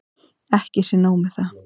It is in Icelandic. Ekki sé nóg með það.